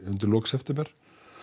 undir lok september